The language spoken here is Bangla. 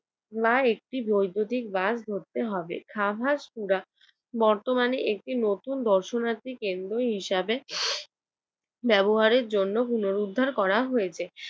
বা একটি বৈদ্যুতিক বাস ধরতে হবে। খাবাসপুরা বর্তমানে একটি নতুন দর্শনার্থী কেন্দ্র হিসেবে ব্যবহারের জন্য পুনরুদ্ধার করা হয়েছ।